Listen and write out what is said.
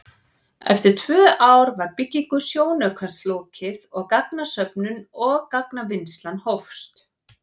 Eftir tvö ár var byggingu sjónaukans lokið og gagnasöfnun og gagnavinnsla hófst.